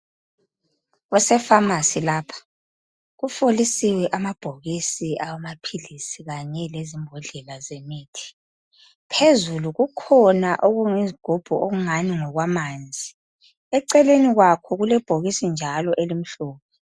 Kuse pharmacy lapha ,kufolisiwe amabhokisi awamaphilisi kanye lezimbodlela zemithi. Phezulu kukhona okuyizigubhu okungani ngokwamanzi. Eceleni kwakho kulebhokisi njalo elimhlophe.